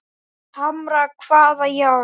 Hamra hvaða járn?